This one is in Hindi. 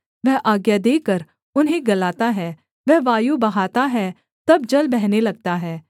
वह आज्ञा देकर उन्हें गलाता है वह वायु बहाता है तब जल बहने लगता है